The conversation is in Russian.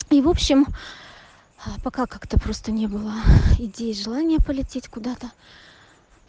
и в общем пока как то просто не было идеи желания полететь куда то